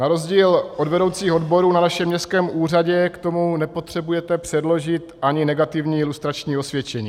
Na rozdíl od vedoucích odborů na našem městském úřadě k tomu nepotřebujete předložit ani negativní lustrační osvědčení.